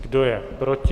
Kdo je proti?